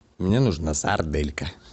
мне нужна сарделька